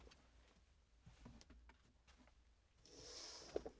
TV 2